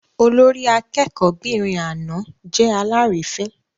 Olórí akẹ́kọ̀ọ́'bìnrin àná jẹ́ alárìífín.